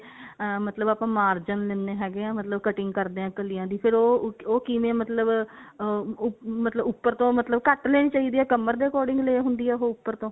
ah ਮਤਲਬ ਆਪਾਂ margin ਦਿੰਨੇ ਹੈਗੇ ਹਾਂ ਮਤਲਬ cutting ਕਰਦੇ ਹਾਂ ਕਲੀਆਂ ਦੀ ਫੇਰ ਉਹ ਉਹ ਕਿਵੇਂ ਮਤਲਬ ah ਮਤਲਬ ਉੱਪਰ ਤੋਂ ਮਤਲਬ ਘੱਟ ਲੈਣੀ ਚਾਹੀਦੀ ਹੈ ਕਮਰ ਦੇ according ਲੈ ਹੁੰਦੀ ਆ ਉਹ ਉੱਪਰ ਤੋਂ